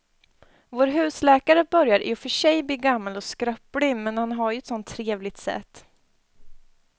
Vår husläkare börjar i och för sig bli gammal och skröplig, men han har ju ett sådant trevligt sätt!